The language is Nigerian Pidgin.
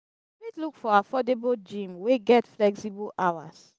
you fit look for affordable gym wey get flexible hours